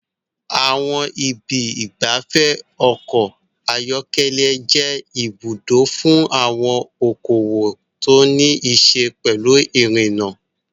Àwọn ibi ìgbafẹ́ ọkọ̀ ayọ́kẹ́lẹ́ jẹ́ ibùdó fún àwọn okòwò tó ní í ṣe pẹ̀lú irinna.